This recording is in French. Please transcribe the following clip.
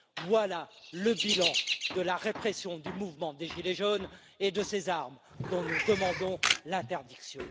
voilà le bilan de la répression du mouvement des gilets jaunes et de ces armes dont nous demandons l'interdiction.